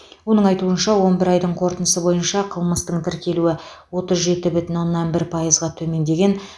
оның айтуынша он бір айдың қорытындысы бойынша қылмыстың тіркелуі отыз жеті бүтін оннан бір пайызға төмендеді